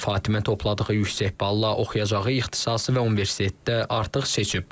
Fatimə topladığı yüksək balla oxuyacağı ixtisası və universitetdə artıq seçib.